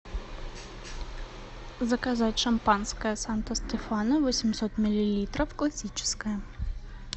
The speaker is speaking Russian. заказать шампанское санто стефано восемьсот миллилитров классическое